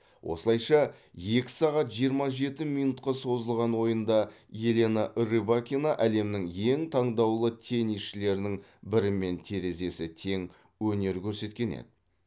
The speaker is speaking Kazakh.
осылайша екі сағат жиырма жеті минутқа созылған ойында елена рыбакина әлемнің ең таңдаулы теннисшілерінің бірімен терезесі тең өнер көрсеткен еді